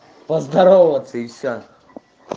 поздороваться и все